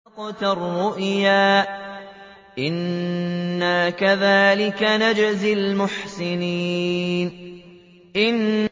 قَدْ صَدَّقْتَ الرُّؤْيَا ۚ إِنَّا كَذَٰلِكَ نَجْزِي الْمُحْسِنِينَ